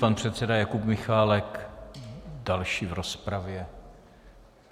Pan předseda Jakub Michálek další v rozpravě.